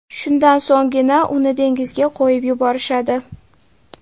Shundan so‘nggina uni dengizga qo‘yib yuborishadi.